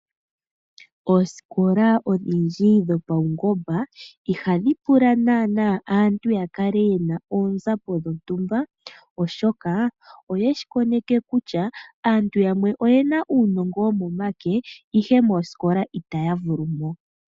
Oosikola odhindji dhopaungomba ihadhi pula naana aantu ya kale ye na oonzapo dhontumba oshoka oye shi koneke kutya aantu yamwe oye na uunongo womomake, ihe moosikola itaya vulu mo.